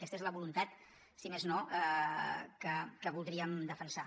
aquesta és la voluntat si més no que voldríem defensar